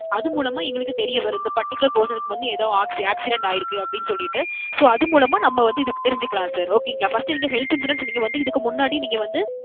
அது மூலமா எங்களுக்கு தெரிய வரும், இந்த particular person க்கு வந்து ஏதோ ~ accident ஆயிருக்கு அப்பிடின்னு சொல்லிட்டு. So, அது மூலமா நம்ம வந்து இது தெரிஞ்சுக்கலாம் sir. okay ங்களா. first நீங்க health insurance நீங்க வந்து இதுக்கு முன்னாடி நீங்க வந்து.